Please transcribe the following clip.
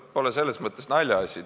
See pole selles mõttes naljaasi.